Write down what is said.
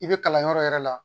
I be kalanyɔrɔ yɛrɛ la